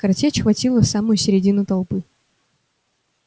картечь хватила в самую средину толпы